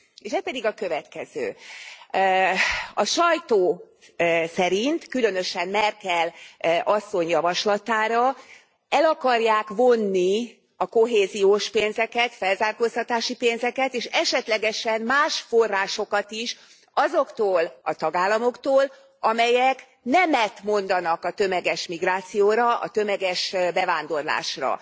Ez pedig a következő A sajtó szerint, különösen Merkel asszony javaslatára, el akarják vonni a kohéziós pénzeket, felzárkóztatási pénzeket és esetlegesen más forrásokat is azoktól a tagállamoktól, amelyek nemet mondanak a tömeges migrációra, a tömeges bevándorlásra.